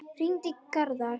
Hringi í Garðar.